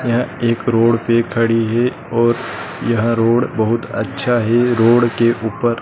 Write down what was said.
यह एक रोड पे खड़ी है और यह रोड बहुत अच्छा है रोड के ऊपर --